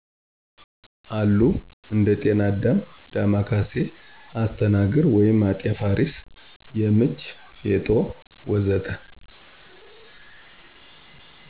አሉ እንደ ጤና አዳም፣ ዳማከሴ፣ አስተናግር ( አጤ ፋሪስ )፣ የምች፣ ፌጦ፣ ወ.ዘ.ተ...